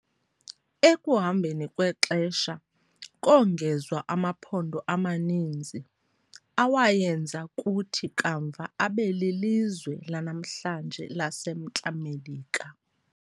Ekuhambeni kwexesha, kongezwa amaphondo amaninzi, awayenza kuthi kamva abe lilizwe lanamhlanje laseMntla Melika.